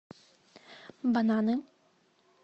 бананы